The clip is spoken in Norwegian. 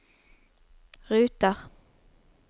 ruter